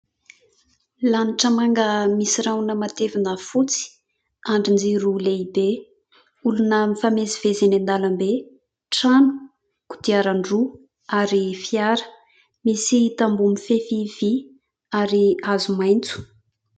Lanitra manga misy rahona matevina fotsy, andrin-jiro lehibe, olona mifamezivezy eny an-dalam-be, trano, kodiaran-droa, ary fiara, misy tamboho mifefy vy, ary hazo maitso.